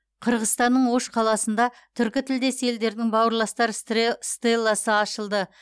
қырғызстанның ош қаласында түркітілдес елдердің бауырластар стелласы ашылды